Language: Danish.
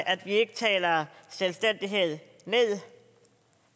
at vi ikke taler selvstændighed ned